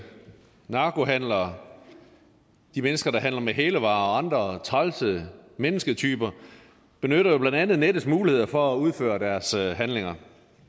narkohandlere de mennesker der handler med hælervarer og andre trælse mennesketyper benytter jo blandt andet nettets muligheder for at udføre deres handlinger